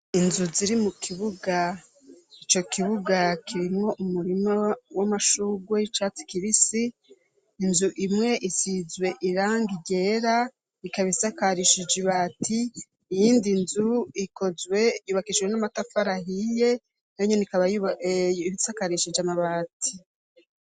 inzu ziri mu kibuga ico kibuga kirimwo umurima w'amashugwe y'icatsi kibisi inzu imwe isizwe irangi ryera ikaba isakarishije ibati iyindi nzu ikozwe yubakishijwe n'amatafari ahiye na nyoni ikaba bisakarishije amabati